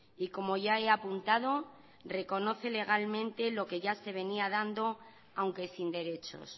y como ya he apuntado reconoce legalmente lo que ya se venía dando aunque sin derechos